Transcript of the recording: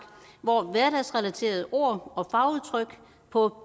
hvor hverdagsrelaterede ord og fagudtryk på